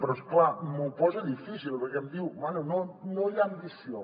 però és clar m’ho posa difícil perquè em diu bé no hi ha ambició